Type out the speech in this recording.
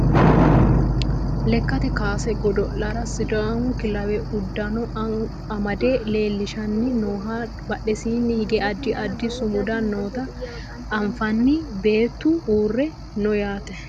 Lekkate kaase godo'lera sidaamu kilawe uddano amade leellishanni nooha badhesiinni higge addi addi sumudda noota anfanni beettu uurre no yaate